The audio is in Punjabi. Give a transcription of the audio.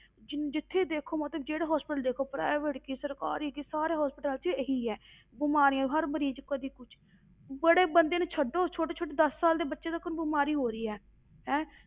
ਜਿੰਨ ਜਿੱਥੇ ਦੇਖੋ ਮਤਲਬ ਜਿਹੜਾ hospital ਦੇਖੋ private ਕੀ ਸਰਕਾਰੀ ਕੀ ਸਾਰੇ hospitals ਵਿੱਚ ਇਹੀ ਹੈ ਬਿਮਾਰੀਆਂ, ਹਰ ਮਰੀਜ਼ ਕਦੇ ਕੁਛ ਵੱਡੇ ਬੰਦੇ ਨੂੰ ਛੱਡੋ ਛੋਟੇ ਛੋਟੇ ਦਸ ਸਾਲ ਦੇ ਬੱਚੇ ਤੱਕ ਨੂੰ ਬਿਮਾਰੀ ਹੋ ਰਹੀ ਹੈ, ਹੈਂ